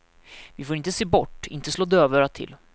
Vi får inte se bort, inte slå dövörat till.